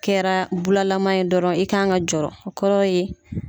Kɛra bulalaman ye dɔrɔn, i kan ka jɔrɔ. O kɔrɔ ye